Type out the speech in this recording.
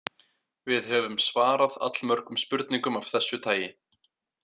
Við höfum svarað allmörgum spurningum af þessu tagi.